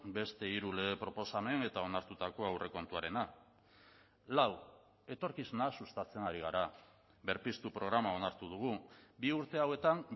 beste hiru lege proposamen eta onartutako aurrekontuarena lau etorkizuna sustatzen ari gara berpiztu programa onartu dugu bi urte hauetan